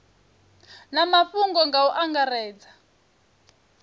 na mafhungo nga u angaredza